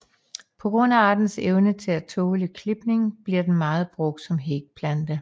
På grund af artens evne til at tåle klipning bliver den meget brugt som hækplante